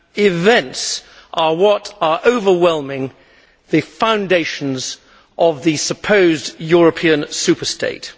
Events are what is overwhelming the foundations of the supposed European superstate.